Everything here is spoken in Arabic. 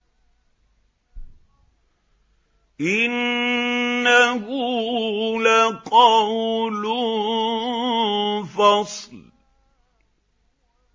إِنَّهُ لَقَوْلٌ فَصْلٌ